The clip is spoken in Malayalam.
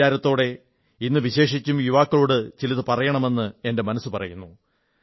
ഈ വിചാരത്തോടെ ഇന്ന് വിശേഷിച്ചും യുവാക്കളോടു ചിലതു പറയണമെന്ന് എന്റെ മനസ്സു പറയുന്നു